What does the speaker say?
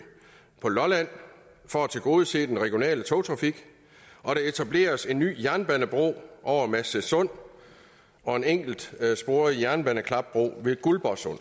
på lolland for at tilgodese den regionale togtrafik og der etableres en ny jernbanebro over masnedsund og en enkeltsporet jernbaneklapbro ved guldborgsund